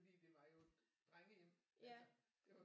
Fordi det var jo et drengehjem altså